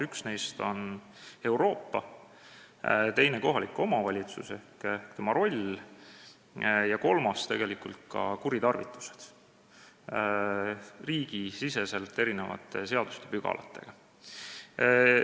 Üks neist on Euroopa, teine kohalik omavalitsus ja tema roll ning kolmas tegelikult riigisisene eri seaduspügalate kuritarvitus.